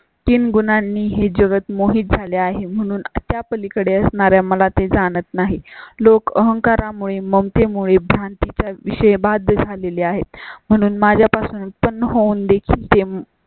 तीन गुणांनी हे जगत् मोहित झाले आहे म्हणून त्या पलीकडे असणारा मला ते जाणत नाही. लोक अहंकारा मुळे मग ते मुळे भारती च्या विशेष भागात झालेली आहेत म्हणून माझ्या पासून उत्पन्न होऊन देखील ते.